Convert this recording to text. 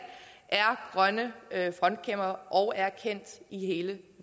er grønne frontkæmpere og er kendt i hele